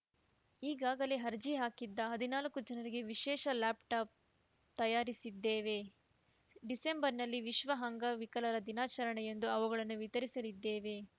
ಈಗಾಗಲೇ ಅರ್ಜಿ ಹಾಕಿದ್ದ ಹದನಾಲ್ಕು ಜನರಿಗೆ ವಿಶೇಷ ಲ್ಯಾಪ್‌ಟಾಪ್‌ ತಯರಿಸಿದ್ದೇವೆ ಡಿಸೆಂಬರ್‌ನಲ್ಲಿ ವಿಶ್ವ ಅಂಗವಿಕಲರ ದಿನಾಚರಣೆಯಂದು ಅವುಗಳನ್ನು ವಿತರಿಸಲಿದ್ದೇವೆ